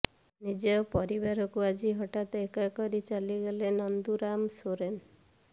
ନିଜ ପରିବାରକୁ ଆଜି ହଠାତ୍ ଏକା କରି ଚାଲିଗଲେ ନନ୍ଦୁରାମ ସୋରେନ୍